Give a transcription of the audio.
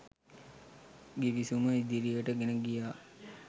ගිවිසුම ඉදිරියට ගෙන ගියා.